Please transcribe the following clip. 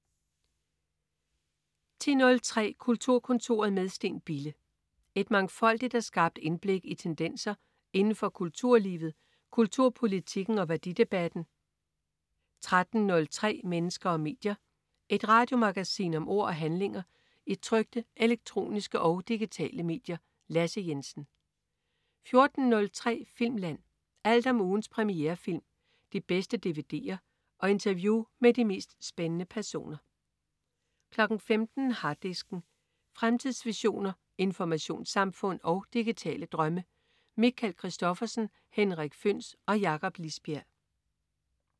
10.03 Kulturkontoret med Steen Bille. Et mangfoldigt og skarpt indblik i tendenser inden for kulturlivet, kulturpolitikken og værdidebatten 13.03 Mennesker og medier. Et radiomagasin om ord og handlinger i trykte, elektroniske og digitale medier. Lasse Jensen 14.03 Filmland. Alt om ugens premierefilm, de bedste dvd'er og interview med de mest spændende personer 15.00 Harddisken. Fremtidsvisioner, informationssamfund og digitale drømme. Michael Christophersen, Henrik Føhns og Jakob Lisbjerg